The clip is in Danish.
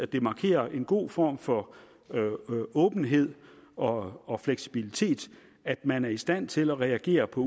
det markerer en god form for åbenhed og og fleksibilitet at man er i stand til at reagere på